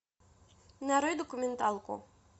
нарой документалку